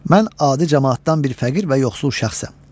Mən adi camaatdan bir fəqir və yoxsul şəxsəm.